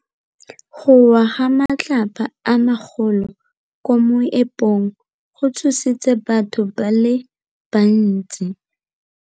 Go wa ga matlapa a magolo ko moepong go tshositse batho ba le bantsi.